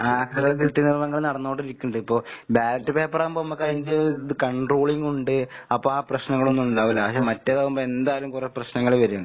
കൃത്രിമങ്ങള്‍ നടന്നോണ്ടിരിക്കിണ്ട്. ഇപ്പൊ ബാലറ്റ് പേപ്പറാവുമ്പോ ഇമ്മക്കതിന്റെ ഇത് കോൺട്രോളിങ്ങ് ഉണ്ട്. അപ്പാ പ്രശ്നങ്ങളൊന്നുണ്ടാവൂല്ല. പക്ഷെ മറ്റേതാവുമ്പോ എന്തായാലും കൊറേ പ്രശ്നങ്ങൾ വരും.